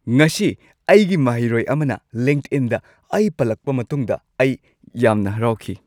ꯉꯁꯤ ꯑꯩꯒꯤ ꯃꯍꯩꯔꯣꯏ ꯑꯃꯅ ꯂꯤꯡꯛꯏꯟꯗ ꯑꯩ ꯄꯜꯂꯛꯄ ꯃꯇꯨꯡꯗ ꯑꯩ ꯌꯥꯝꯅ ꯍꯔꯥꯎꯈꯤ꯫